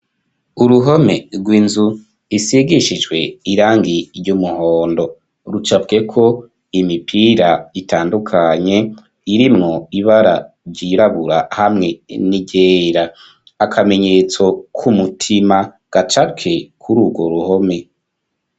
Uruhome rw'inzu isigishijwe irangi ry'umuhondo rucapweko imipira itandukanye irimwo ibara ryirabura hamwe n'iryera akamenyetso kumutima gacapwe kuri urwo ruhome.